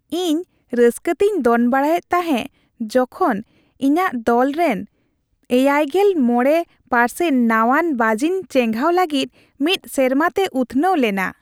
ᱤᱧ ᱨᱟᱹᱥᱠᱟᱹᱛᱤᱧ ᱫᱚᱱ ᱵᱟᱲᱟᱭᱮᱫ ᱛᱟᱦᱮᱸ ᱡᱚᱠᱷᱚᱱ ᱤᱧᱟᱹᱜ ᱫᱚᱞᱨᱮᱱ ᱗᱕% ᱱᱟᱣᱟᱱ ᱵᱟᱹᱡᱤᱱ ᱪᱮᱸᱜᱷᱟᱣ ᱞᱟᱹᱜᱤᱫ ᱢᱤᱫ ᱥᱮᱨᱢᱟᱛᱮ ᱩᱛᱱᱟᱹᱣ ᱞᱮᱱᱟ ᱾